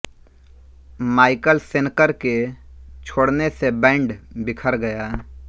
Michael Schenker के छोड़ने से बैंड बिखर गया